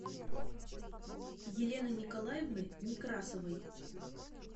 елены николаевны некрасовой